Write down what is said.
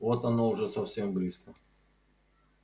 вот оно уже совсем близко